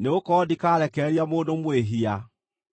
nĩgũkorwo ndikarekereria mũndũ mwĩhia.